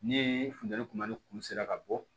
Ni funteni kuma ni kulu sera ka bɔ